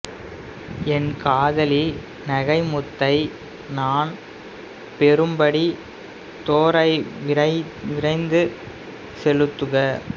என் காதலி நகைமுத்தை நான் பெறும்படி தோரை விரைந்து செலுத்துக